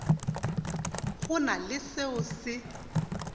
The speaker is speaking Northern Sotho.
go na le seo se